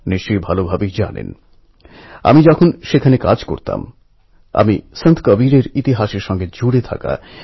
দেশের যে কোনও প্রান্তের যে কোনও ভালো ঘটনা আমার মনকে শক্তি দেয় প্রেরণা যোগায়